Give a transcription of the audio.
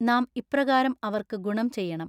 നാം ഇപ്രകാരം അവർക്ക് ഗുണം ചെയ്യണം.